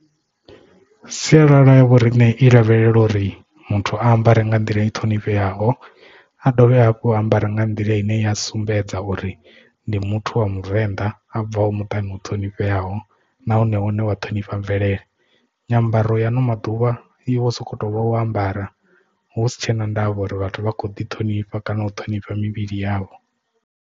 Sialala ya vhoriṋe i lavhelelwa uri muthu ambare nga nḓila i ṱhonifheaho a dovhe hafhu a ambare nga nḓila ine ya sumbedza uri ndi muthu wa muvenḓa a bvaho muṱani u ṱhonifheaho nahone und wa ṱhonifha mvelele nyambaro ya ano maḓuvha i vho sokou tou vha u ambara husi tshena ndavha uri vhathu vha kho ḓi ṱhonifha kana u ṱhonifha mivhili yavho.